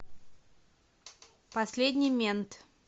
последний мент